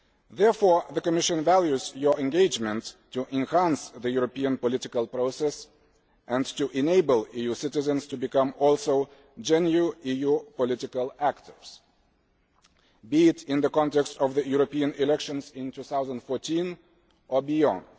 Therefore the Commission values your engagement to enhance the European political process and to enable EU citizens to also become genuine EU political actors, be it in the context of the European elections in 2014 or beyond.